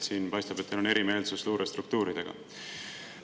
Nii et paistab, et siin olete te luurestruktuuridega eri meelt.